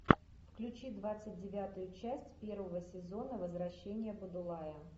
включи двадцать девятую часть первого сезона возвращение будулая